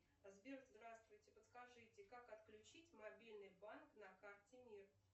сбер здравствуйте подскажите как отключить мобильный банк на карте мир